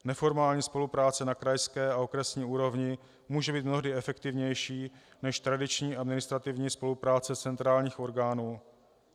Neformální spolupráce na krajské a okresní úrovni může být mnohdy efektivnější než tradiční administrativní spolupráce centrálních orgánů.